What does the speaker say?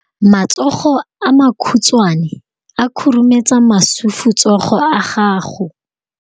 Matsogo a makhutshwane a khurumetsa masufutsogo a gago.